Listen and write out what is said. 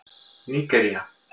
Nígería